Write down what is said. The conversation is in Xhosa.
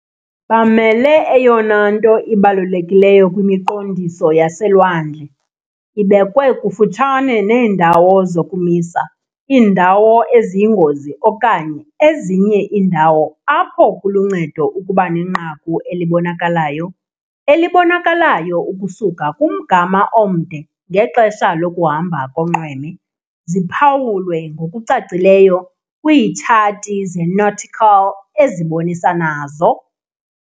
Bamele eyona nto ibalulekileyo kwimiqondiso yaselwandle- ibekwe kufutshane neendawo zokumisa, iindawo eziyingozi okanye ezinye iindawo apho kuluncedo ukuba nenqaku elibonakalayo elibonakalayo ukusuka kumgama omde ngexesha lokuhamba konxweme, ziphawulwe ngokucacileyo kwiitshathi ze-nautical ezibonisa nazo.